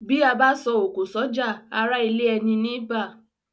Bí abá so òkò sójà ará ilé eni ní bá